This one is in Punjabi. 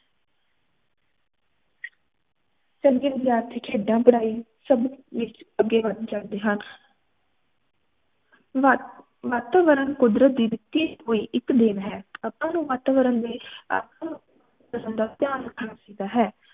ਚੰਗੇ ਵਿਦਿਆਰਥੀ ਖੇਡਾਂ ਪੜ੍ਹਾਇ ਸਬ ਵਿਚ ਅਗੇ ਵੱਧ ਜਾਂਦੇ ਹਨ ਵਾ ਵਾਤਾਵਰਨ ਕੁਦਰਤ ਦੀ ਦਿਤੀ ਹੁਈ ਇਕ ਦੇਣ ਹੈ ਆਪਾ ਨੂੰ ਵਾਤਾਵਰਨ ਦੇ ਧਿਆਨ ਰੱਖਣਾ ਚਾਹੀਦਾ ਹੈ